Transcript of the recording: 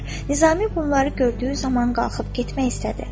Nizami bunları gördüyü zaman qalxıb getmək istədi.